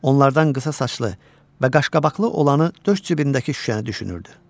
Onlardan qısa saçlı və qaşqabaqlı olanı döş cibindəki şüşəni düşünürdü.